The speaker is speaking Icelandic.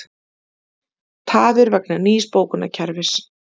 Tafir vegna nýs bókunarkerfis